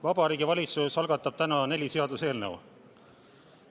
Vabariigi Valitsus algatab täna neli seaduseelnõu.